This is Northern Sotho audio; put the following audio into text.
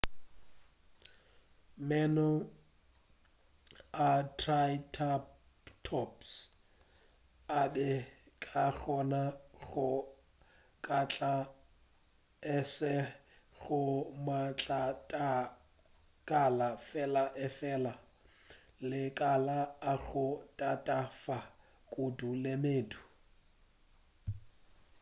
meno a triceratops a be a ka kgona go kgatla e seng go matlakala fela efela le makala a go tatafa kudu le medu